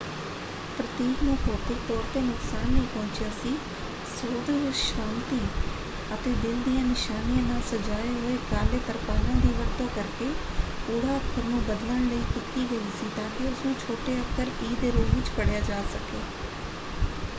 ਪ੍ਰਤੀਕ ਨੂੰ ਭੌਤਿਕ ਤੌਰ 'ਤੇ ਨੁਕਸਾਨ ਨਹੀਂ ਪਹੁੰਚਿਆ ਸੀ; ਸੋਧ ਸ਼ਾਂਤੀ ਅਤੇ ਦਿਲ ਦੀਆਂ ਨਿਸ਼ਾਨੀਆਂ ਨਾਲ ਸਜਾਏ ਹੋਏ ਕਾਲੇ ਤਰਪਾਲਾਂ ਦੀ ਵਰਤੋਂ ਕਰਕੇ ਓ ਅੱਖਰ ਨੂੰ ਬਦਲਣ ਲਈ ਕੀਤੀ ਗਈ ਸੀ ਤਾਂਕਿ ਉਸਨੂੰ ਛੋਟੇ ਅੱਖਰ ਈ ਦੇ ਰੂਪ ਵਿੱਚ ਪੜ੍ਹਿਆ ਜਾ ਸਕੇ।